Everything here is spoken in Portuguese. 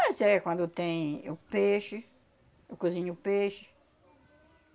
Mas é quando tem o peixe, eu cozinho o peixe.